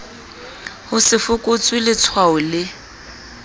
ho se fokotswe letshwao le